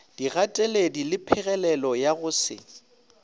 digateledi lephegelelo ya go se